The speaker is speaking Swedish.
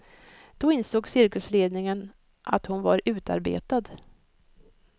Då insåg cirkusledningen att hon var utarbetad.